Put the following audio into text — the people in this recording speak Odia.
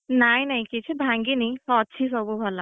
ନାଇଁ ନାଇଁ କିଛି ଭାଙ୍ଗିନି ହଁ ସବୁ ଅଛି ସବୁ ଭଲ।